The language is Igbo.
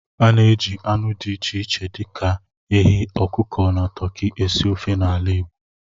A na-eji anụ dị iche iche dị ka ehi, ọkụkọ, na toki esi ofe n'ala Igbo